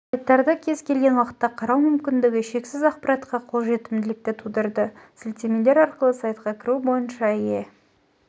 сайттарды кез келген уақытта қарау мүмкіндігі шексіз ақпаратқа қолжетімділікті тудырды сілтемелер арқылы сайтқа кіру бойынша еее